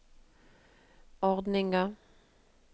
ordninga